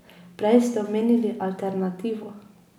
Prej ste omenili alternativo ...